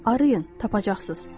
Arayın, tapacaqsınız.